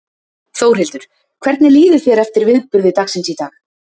Þórhildur: Hvernig líður þér eftir viðburði dagsins í dag?